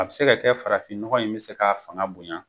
A bi se ka kɛ farafin nɔgɔn in mi se ka fanga bonya